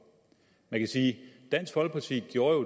man kan sige at dansk folkeparti jo